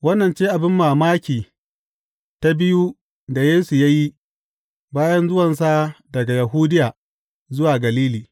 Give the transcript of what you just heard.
Wannan ce abin banmamaki ta biyu da Yesu ya yi, bayan zuwansa daga Yahudiya zuwa Galili.